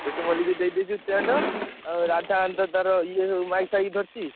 ଟିଟୁ ମଲିକ ଦେଇଦେଇଛୁ tent ଆଉ ରାଧା ଏମିତିତାର ତାର ଇଏ ସବୁ ଫାଇକ ଧରିଛି।